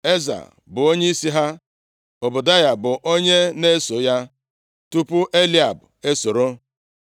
Eza, bụ onyeisi ha. Ọbadaya bụ onye na-eso ya, tupu Eliab esoro.